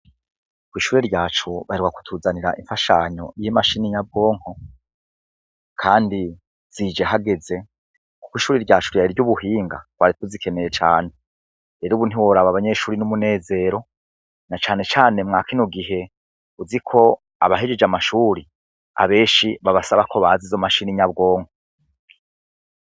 Kw'ishure ryacu baheruka kutuzanira imfashanyo y'imashini nyabwonko kandi zije hageze kuko ishure ryacu ryari iry'ubuhinga twari tuzikeneye cane, rero ubu ntiworaba abanyeshure ni umunezero na canecane mwa kino gihe uzi ko abahejeje amashuri abenshi babasaba ko bazi izo mashini nyabwonko.